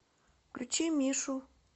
включи мишу